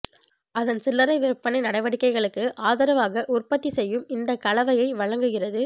அதன் சில்லறை விற்பனை நடவடிக்கைகளுக்கு ஆதரவாக உற்பத்தி செய்யும் இந்த கலவையை வழங்குகிறது